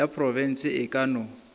ya profense e ka no